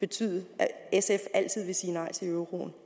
betyde at sf altid vil sige nej til euroen